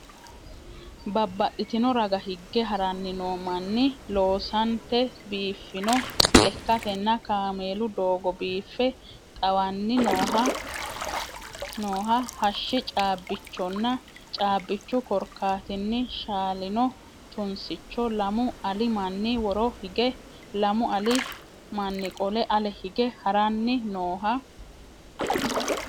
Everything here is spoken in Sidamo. Babbaxxino raga hige haranni noo manni, loosante biiffino lekkatenna kaameelu doogo, biife xawanni nooha hashshi caabbichonna caabbichu korkaatinni shaalino tunsicho. Lamu ali manni woro hige lamu ali manni qole ale hige haranni nooha.